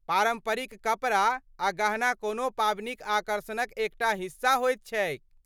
पारम्परिक कपड़ा आ गहना कोनो पाबनिक आकर्षणक एकटा हिस्सा होइत छैक।